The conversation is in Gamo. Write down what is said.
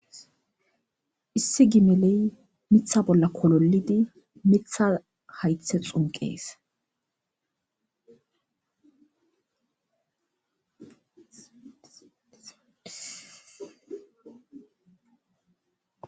issi gimeley mitha bolla kololidi mitha haythe xunqees